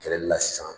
Kɛlɛli la sisan